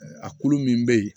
A kulu min be yen